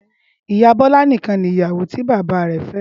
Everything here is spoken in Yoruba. ìyá Bola nìkan ni ìyàwó tí bàbá rè fé.